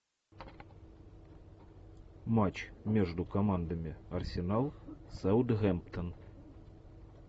матч между командами арсенал саутгемптон